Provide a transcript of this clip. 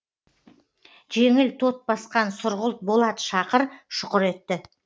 жеңіл тот басқан сұрғылт болат шақыр шұқыр етті